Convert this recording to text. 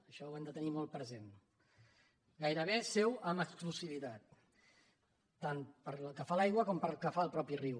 això ho hem de tenir molt present gairebé seu en exclusivitat tant pel que fa a l’aigua com pel que fa al mateix riu